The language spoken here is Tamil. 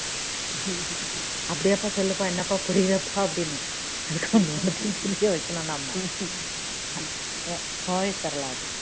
அப்படியாப்பா சொல்லுபா என்னப்பா புரியலப்பா அப்படின்னும் ஒன்னு ஒன்னுத்தையும் புரிய வைக்கணும் நம்ம கோவை சரளா